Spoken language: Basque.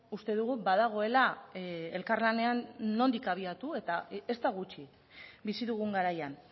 uste dugu badagoela elkarlanean nondik abiatu eta ez da gutxi bizi dugun garaian